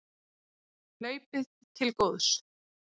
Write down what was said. Hlaupið til góðs